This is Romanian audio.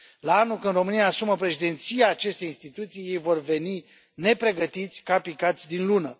Anul viitor, când România își asumă președinția acestei instituții, ei vor veni nepregătiți, ca picați din Lună.